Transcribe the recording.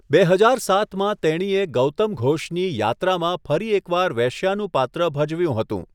બે હજાર સાતમાં તેણીએ ગૌતમ ઘોષની યાત્રામાં ફરી એક વાર વેશ્યાનું પાત્ર ભજવ્યું હતું.